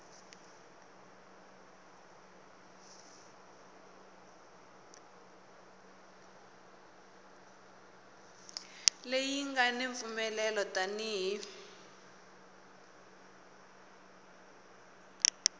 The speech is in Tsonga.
leyi nga ni mpfumelelo tani